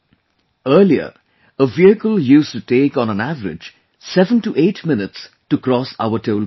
Earlier, a vehicle used to take on an average 7 to 8 minutes to cross our toll plazas